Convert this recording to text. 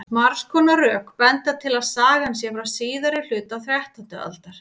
margs konar rök benda til að sagan sé frá síðari hluta þrettándu aldar